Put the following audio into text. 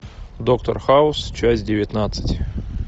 доктор хаус часть девятнадцать